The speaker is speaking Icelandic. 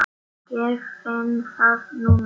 Ég finn það núna.